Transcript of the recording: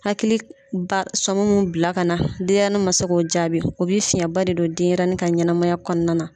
Hakili k b'a sɔŋ mun bila kana denyɛni ma se k'o jaabi. O be fiɲɛba de don denyɛrɛni ka ɲɛnamaya kɔɔna na.